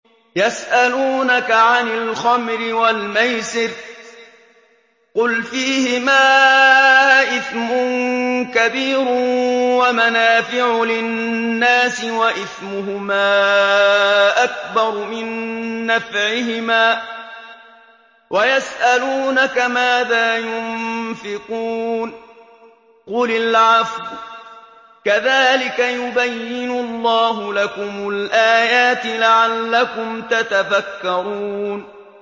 ۞ يَسْأَلُونَكَ عَنِ الْخَمْرِ وَالْمَيْسِرِ ۖ قُلْ فِيهِمَا إِثْمٌ كَبِيرٌ وَمَنَافِعُ لِلنَّاسِ وَإِثْمُهُمَا أَكْبَرُ مِن نَّفْعِهِمَا ۗ وَيَسْأَلُونَكَ مَاذَا يُنفِقُونَ قُلِ الْعَفْوَ ۗ كَذَٰلِكَ يُبَيِّنُ اللَّهُ لَكُمُ الْآيَاتِ لَعَلَّكُمْ تَتَفَكَّرُونَ